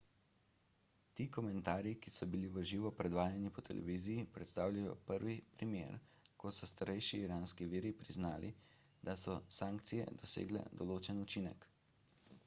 ti komentarji ki so bili v živo predvajani po televiziji predstavljajo prvi primer ko so starejši iranski viri priznali da so sankcije dosegle določen učinek